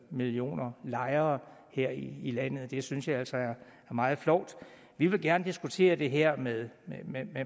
millioner lejere her i landet det synes jeg altså er meget flovt vi vil gerne diskutere det her med